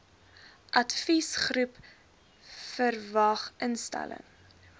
adviesgroep vwag instelling